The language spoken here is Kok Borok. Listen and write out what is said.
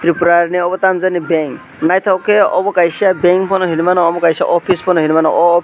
tipra ni obo tamo jani bank nythok ke obo kaisa bankfano hini mano omo kaisa office fano hini mano oh office .